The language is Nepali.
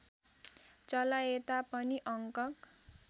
चलाएता पनि अङ्क